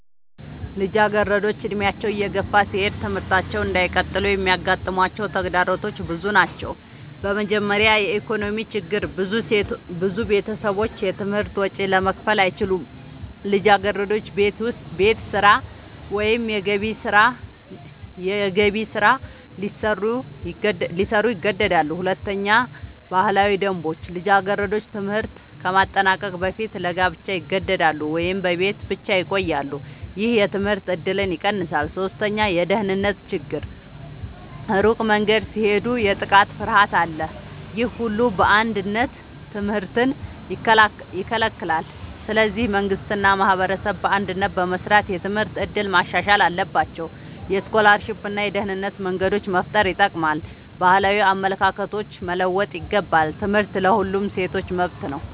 ልጃገረዶች ዕድሜያቸው እየገፋ ሲሄድ ትምህርታቸውን እንዳይቀጥሉ የሚያጋጥሟቸው ተግዳሮቶች ብዙ ናቸው። በመጀመሪያ የኢኮኖሚ ችግር ብዙ ቤተሰቦች የትምህርት ወጪ ለመክፈል አይችሉም። ልጃገረዶች ቤት ስራ ወይም የገቢ ስራ ሊሰሩ ይገደዳሉ። ሁለተኛ ባህላዊ ደንቦች ልጃገረዶች ትምህርት ከማጠናቀቅ በፊት ለጋብቻ ይገደዳሉ ወይም በቤት ብቻ ይቆያሉ። ይህ የትምህርት እድልን ይቀንሳል። ሶስተኛ የደህንነት ችግር ሩቅ መንገድ ሲሄዱ የጥቃት ፍርሃት አለ። ይህ ሁሉ በአንድነት ትምህርትን ይከለክላል። ስለዚህ መንግሥት እና ማህበረሰብ በአንድነት በመስራት የትምህርት እድል ማሻሻል አለባቸው። የስኮላርሺፕ እና የደህንነት መንገዶች መፍጠር ይጠቅማል። ባህላዊ አመለካከቶች መለወጥ ይገባል። ትምህርት ለሁሉም ሴቶች መብት ነው።